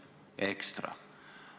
Ekstra!